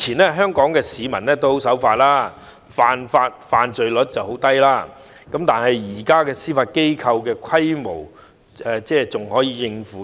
過去香港市民均十分守法，犯罪率十分低，以現時司法機構的規模足以應付。